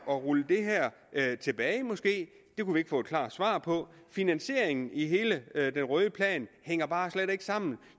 at rulle det her tilbage måske det kunne vi ikke få et klart svar på finansieringen i hele den røde plan hænger bare slet ikke sammen